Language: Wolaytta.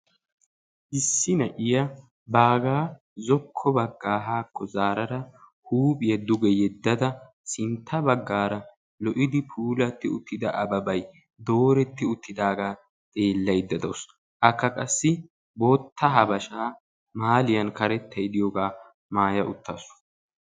Issi naa'iya bagga zoko bagga hako zarada huuphphiya duuge yedada sintta baggara lo'idi puulati uttida ababay dooretti uttidaga xeelayda deawusu. Akka qassi boota habasha maaliyan karettay de'iyoga maaya uttasu.